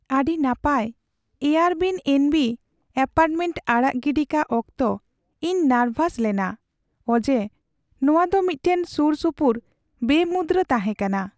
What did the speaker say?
ᱟᱹᱰᱤ ᱱᱟᱯᱟᱭ Airbnb apartment ᱟᱲᱟᱜ ᱜᱤᱰᱤ ᱠᱟᱜ ᱚᱠᱛᱚ ᱤᱧ ᱱᱟᱨᱵᱷᱟᱥ ᱞᱮᱱᱟ ᱚᱡᱮ ᱱᱚᱶᱟ ᱫᱚ ᱢᱤᱫᱴᱟᱝ ᱥᱩᱨᱼᱥᱩᱯᱩᱨ ᱵᱮᱼᱢᱩᱫᱽᱨᱟᱹ ᱛᱟᱦᱮᱸ ᱠᱟᱱᱟ ᱾